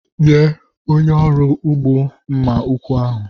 Nye onye ọrụ ugbo mma ụkwụ ahụ.